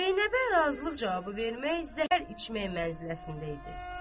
Zeynəbə razılıq cavabı vermək zəhər içmək mənziləsində idi.